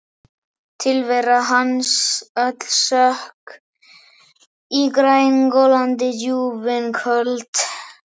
Tilvera hans öll sökk í grængolandi djúpin köld.